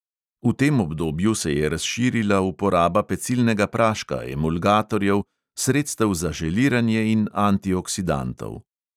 V tem obdobju se je razširila uporaba pecilnega praška, emulgatorjev, sredstev za želiranje in antioksidantov.